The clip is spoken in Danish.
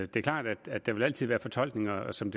det er klart at der altid vil være fortolkninger og som